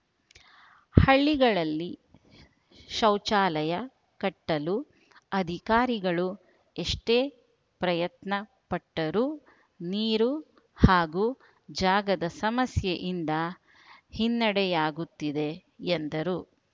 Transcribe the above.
ಹಳ್ಳಿಗಳಲ್ಲಿ ಶೌಚಾಲಯ ಕಟ್ಟಲು ಅಧಿಕಾರಿಗಳು ಎಷ್ಟೇ ಪ್ರಯತ್ನ ಪಟ್ಟರೂ ನೀರು ಹಾಗೂ ಜಾಗದ ಸಮಸ್ಯೆಯಿಂದ ಹಿನ್ನೆಡೆಯಾಗುತ್ತಿದೆ ಎಂದರು